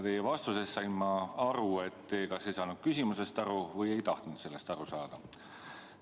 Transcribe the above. Teie vastusest sain ma aru, et te kas ei saanud küsimusest aru või ei tahtnud sellest aru saada.